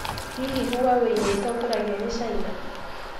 Hihi Huawei nĩ ĩtongoragio ni Caina?